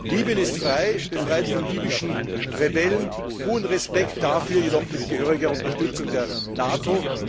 Libyen ist frei, befreit von libyschen Rebellen großen Respekt dafür jedoch mit gehöriger Unterstützung der NATO.